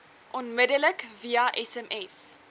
onmiddellik via sms